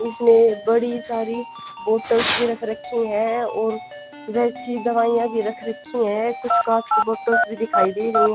इसमें बड़ी सारी बॉटल्स भी रख रखी हैं और वैसी दवाइयाँ भी रख रखी हैं कुछ काँच की बॉटल्स भी दिखाई दे रही हैं।